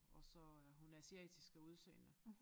Og så er hun asiatisk af udseende